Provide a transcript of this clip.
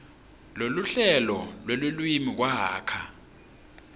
neluhlelo lwelulwimi kwakha